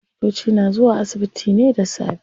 Likitoci na zuwa asibiti ne da safe.